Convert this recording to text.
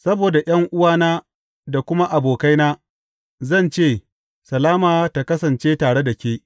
Saboda ’yan’uwana da kuma abokaina, zan ce, Salama tă kasance tare da ke.